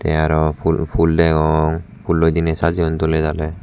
te aro ful degong fulloi dine sajeyun doledale.